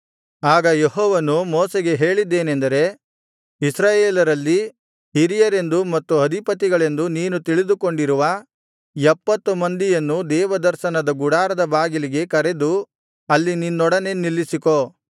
ಆಗ ಯೆಹೋವನು ಮೋಶೆಗೆ ಹೇಳಿದ್ದೇನೇಂದರೆ ಇಸ್ರಾಯೇಲರಲ್ಲಿ ಹಿರಿಯರೆಂದೂ ಮತ್ತು ಅಧಿಪತಿಗಳೆಂದೂ ನೀನು ತಿಳಿದುಕೊಂಡಿರುವ ಎಪ್ಪತ್ತು ಮಂದಿಯನ್ನು ದೇವದರ್ಶನದ ಗುಡಾರದ ಬಾಗಿಲಿಗೆ ಕರೆದು ಅಲ್ಲಿ ನಿನ್ನೊಡನೆ ನಿಲ್ಲಿಸಿಕೋ